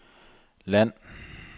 land